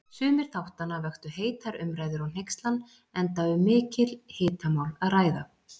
Sumir þáttanna vöktu heitar umræður og hneykslan, enda um mikil hitamál að ræða.